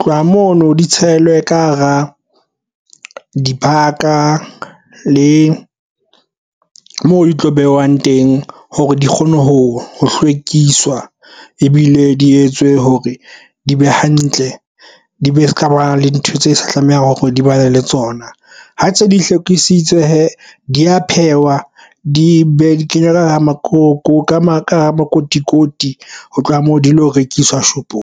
tloha mono di tshelwe ka hara dibaka le moo di tlo behwang teng hore di kgone ho hlwekiswa ebile di etswe hore di be hantle. Di be se ka ba le ntho tse sa tlamehang hore di ba le tsona ha ntse di hlophisitswe hee di ya pheuwa di be di kenywa ka makotikoting ho tloha moo di lo rekiswa shopong.